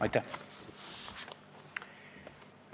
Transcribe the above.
Aitäh!